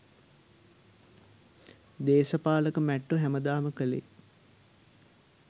දේසපාලක මැට්ටො හැමදාම කලේ